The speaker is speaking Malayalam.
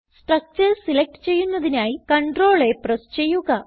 സ്ട്രക്ചർസ് സെലക്ട് ചെയ്യുന്നതിനായി CTRLA പ്രസ് ചെയ്യുക